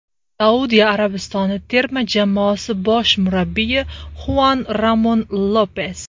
Saudiya Arabistoni terma jamoasi bosh murabbiyi Xuan Ramon Lopes.